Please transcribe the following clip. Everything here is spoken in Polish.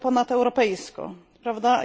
nawet ponadeuropejsko, prawda?